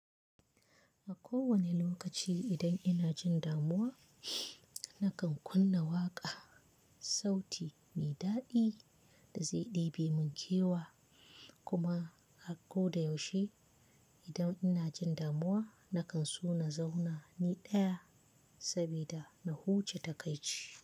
A kowane lokaci idan ina jin damuwa, nakan kunna waƙa, sauti mai daɗi da zai ɗebi mun kewa. Kuma a ko da yaushe idan ina jin damuwa nakan so na zauna ni ɗaya saboda na huce ta kai ci.